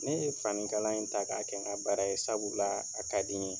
Ne ye fanikala in ta k'a kɛ n ka baara ye sabu la a ka di n ye.